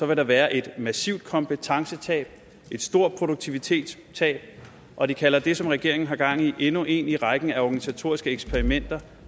vil der være et massivt kompetencetab et stort produktivitetstab og de kalder det som regeringen har gang i endnu et i rækken af organisatoriske eksperimenter